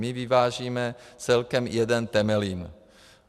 My vyvážíme celkem jeden Temelín.